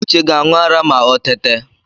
Uche ga-aṇụ ara ma o tete